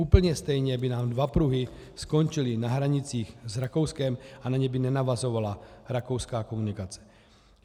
Úplně stejně by nám dva pruhy skončily na hranicích s Rakouskem a na ně by nenavazovala rakouská komunikace.